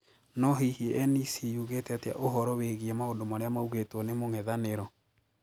No hihi NEC yugite atia uhtoro wigie maũndu maria maugitwo ni mũng'ethaniro?